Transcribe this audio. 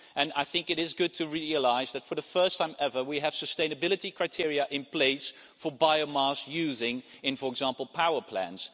I think it is good to realise that, for the first time ever, we have sustainability criteria in place for biomass use in, for example, power plants.